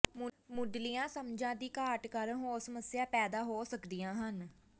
ਮੁੱਢਲੀਆਂ ਸਮਝਾਂ ਦੀ ਘਾਟ ਕਾਰਨ ਹੋਰ ਸਮੱਸਿਆਵਾਂ ਪੈਦਾ ਹੋ ਸਕਦੀਆਂ ਹਨ